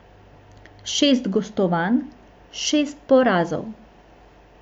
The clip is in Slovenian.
Šest gostovanj, šest porazov.